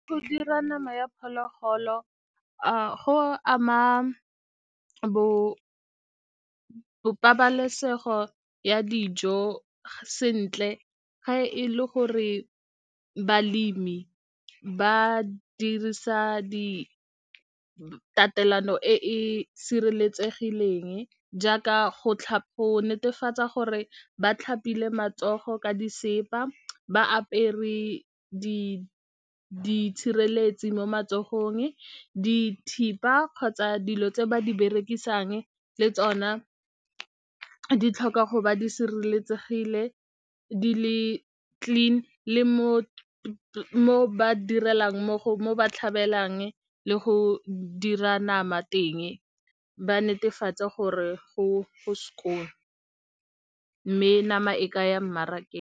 Go dira nama ya phologolo go ama bo pabalesego ya dijo sentle ga e le gore balemi ba dirisa di tatelano e e sireletsegileng jaaka go netefatsa gore ba tlhapile matsogo ka disesepa, ba apere diitshireletsi mo matsogong, dithipa kgotsa dilo tse ba di berekisang le tsona di tlhoka go ba di sireletsegile di le clean, le mo ba direlang mmogo ba tlhabelang le go dira nama teng, ba netefatse gore go skoon mme nama e ka ya mmarakeng.